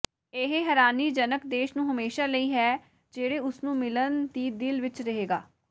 ਇਹ ਹੈਰਾਨੀਜਨਕ ਦੇਸ਼ ਨੂੰ ਹਮੇਸ਼ਾ ਲਈ ਹੈ ਜਿਹੜੇ ਉਸ ਨੂੰ ਮਿਲਣ ਦੀ ਦਿਲ ਵਿੱਚ ਰਹੇਗਾ